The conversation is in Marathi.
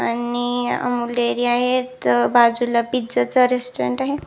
आणि अमूल डेरी आहेत बाजुला एक पिझा च रेस्टॉरंट आहे.